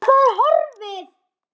Að það er horfið!